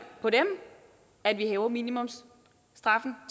på dem at vi hæver minimumsstraffen